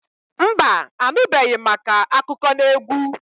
Mba anubeghi màkà akụkọnaegwu.